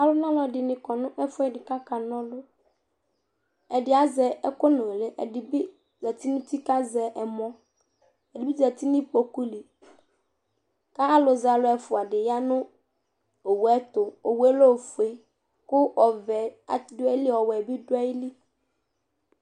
ɔlɔdɩnɩ kɔnɛfʊɛdɩ kakanɔlʊ ɛdɩ azɛ ɛkʊnʊlɩ ɛdɩbɩ zɛtɩ nʊ ʊtikpa kazɛ ɛmɔ ɛdɩbɩ zɛtɩ nʊ kpokʊlɩ kalʊ zɛalʊ ɛfʊa yanʊ owʊɛtʊ owʊɛ lɛ ofʊɛ kʊ ɔvɛ dʊɛlɩ ɔwɛ bɩ dʊɛlɩ